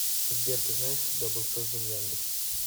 сбер ты знаешь когда был создан яндекс